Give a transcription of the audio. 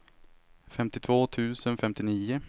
femtiotvå tusen femtionio